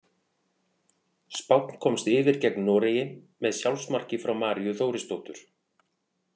Spánn komst yfir gegn Noregi með sjálfsmarki frá Maríu Þórisdóttur.